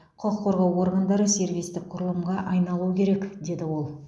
құқық қорғау органдары сервистік құрылымға айналуы керек деді ол